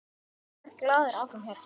Ég verð glaður áfram hérna.